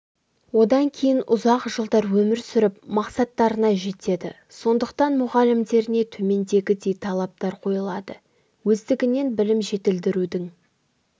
одан кейін ұзақ жылдар өмір сүріп мақсаттарына жетеді сондықтан мұғалімдеріне төмендегідей талаптар қойылады өздігінен білім жетілдірудің